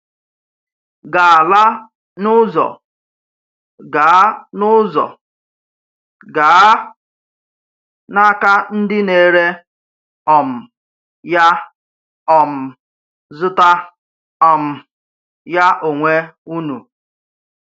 Gà-ala n’ụzọ, gaa n’ụzọ, gaa n’aka ndị na-ere um ya, um zụta um ya onwe unu.